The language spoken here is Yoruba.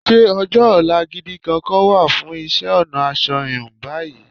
Ṣé ọjọ́-ọ̀la gidi kankan wà fún isẹ́-ọ̀nà asọ híun báyìí?